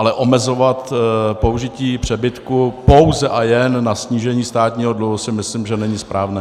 Ale omezovat použití přebytku pouze a jen na snížení státního dluhu si myslím, že není správné.